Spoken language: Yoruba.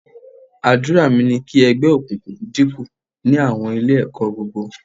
Àdúrà mi ni kí ẹgbẹ́ òkùnkùn dínkù ní àwọn Ilé-ẹ̀kọ́ gbogbo